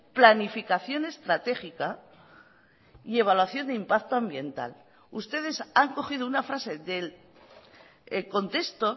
planificación estratégica y evaluación de impacto ambiental ustedes han cogido una frase del contexto